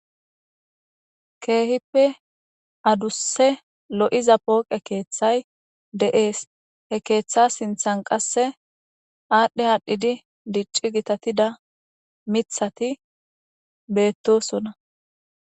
Keehippe adusse lo'iza pooqe keeththay de'ees he keeththa sinthan qasse aadhdhe haadhdhidi dicci gitatida mithati beettosona.